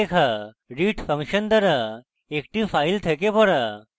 read function দ্বারা একটি file থেকে পড়া